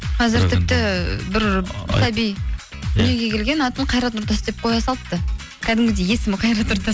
қазір тіпті бір сәби дүниеге келген атын қайрат нұртас деп қоя салыпты кәдімгідей есімі қайрат нұртас